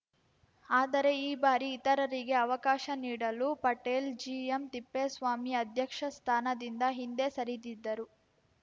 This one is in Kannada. ಆದರೆ ಈ ಬಾರಿ ಇತರರಿಗೆ ಅವಕಾಶ ನೀಡಲು ಪಟೇಲ್‌ ಜಿಎಂತಿಪ್ಪೇಸ್ವಾಮಿ ಅಧ್ಯಕ್ಷಸ್ಥಾನದಿಂದ ಹಿಂದೆ ಸರಿದಿದ್ದರು